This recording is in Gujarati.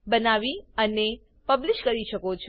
બનાવી અને પબલીશ કરી શકો છો